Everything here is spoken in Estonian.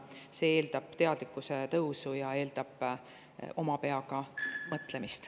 See eeldab teadlikkuse tõusu ja oma peaga mõtlemist.